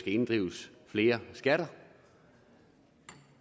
inddrives flere skatter